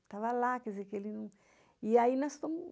Estava lá, quer dizer que ele não... E aí nós casamos.